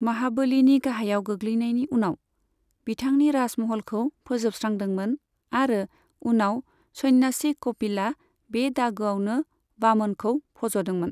महाबलीनि गाहायाव गोग्लैनायनि उनाव, बिथांनि राजमहलखौ फोजोबस्रांदोंमोन आरो उनाव सन्यासि कपिलआ बे दागोआवनो वामनखौ फजदोंमोन।